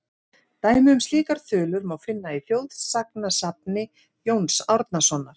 Dæmi um slíkar þulur má finna í þjóðsagnasafni Jóns Árnasonar:.